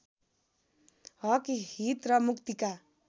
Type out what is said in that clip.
हकहित र मुक्तिका